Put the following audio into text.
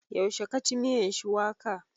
Yaushe ka ci miyan shuwaka?